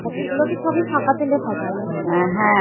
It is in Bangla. সেগুলোকে সবই ছাকা তেলে ভাজবো নাকি?